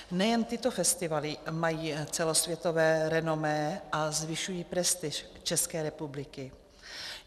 Nejen tyto festivaly mají celosvětové renomé a zvyšují prestiž České republiky.